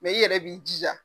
Mɛ i yɛrɛ b'i jija